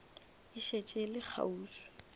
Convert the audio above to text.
e šetše e le kgauswi